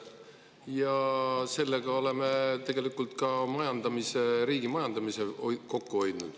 Ja sellega hoiaksime tegelikult ka riigi majandamisel kokku.